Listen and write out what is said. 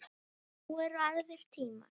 Nú eru aðrir tímar.